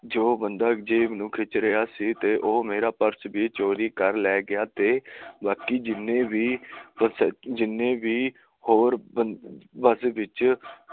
ਜੋ ਬੰਦਾ ਜੇਬ ਨੂੰ ਖਿੱਚ ਰਿਹਾ ਸੀ ਊਹ ਮੇਰਾ ਪ੍ਰ੍ਰਸ ਵੀ ਚੋਰੀ ਕਰ ਲੈਗੀਆਂ ਬਾਕੀ ਜਿੰਨੇ ਵੀ ਹੋਰ ਬੱਸ ਵਿੱਚ